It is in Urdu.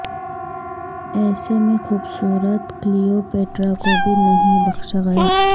ایسے میں خوبصورت کلیو پیٹرا کو بھی نہیں بخشا گیا